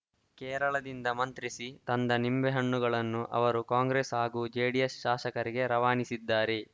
ಕೇರಳದಿಂದ ಮಂತ್ರಿಸಿ ತಂದ ನಿಂಬೆಹಣ್ಣುಗಳನ್ನು ಅವರು ಕಾಂಗ್ರೆಸ್‌ ಹಾಗೂ ಜೆಡಿಎಸ್‌ ಶಾಸಕರಿಗೆ ರವಾನಿಸಿದ್ದಾರೆ